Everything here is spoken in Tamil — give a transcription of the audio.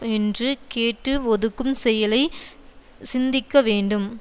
என்று கேட்டு ஒதுக்கும் செயலை சிந்திக்கவேண்டும்